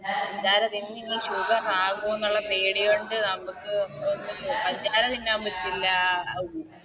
പഞ്ചാര തിന്നിനി Sugar ആകുവോ ഒള്ള പേടി കൊണ്ട് നമുക്ക് പഞ്ചാര തിന്നാൻ പറ്റില്ല